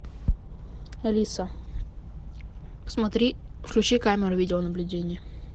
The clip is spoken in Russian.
алиса посмотри включи камеру видеонаблюдения